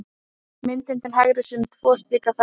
Myndin til hægri sýnir tvo slíka ferla.